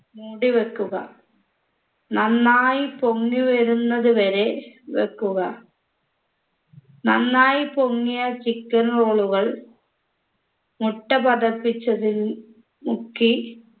മൂടിവെക്കുക നന്നായി പൊങ്ങി വരുന്നത് വരെ വെക്കുക നന്നായി പൊങ്ങിയ chicken roll കൾ മുട്ട പതപ്പിച്ചതിൽ മുക്കി